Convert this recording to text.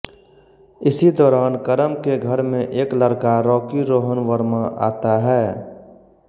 इसी दौरान करम के घर में एक लड़का रॉकी रोहन वर्मा आता है